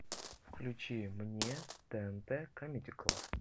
включи мне тнт камеди клаб